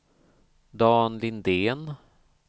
Dan Lindén